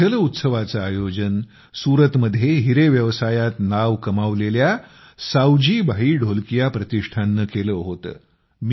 या जल उत्सवाचं आयोजन सूरतमध्ये हिरे व्यवसायात नाव कमावलेल्या सावजी भाई ढोलकिया प्रतिष्ठाननं केलं होतं